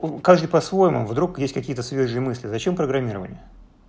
каждый по-своему вдруг есть какие-то свежие мысли зачем программирование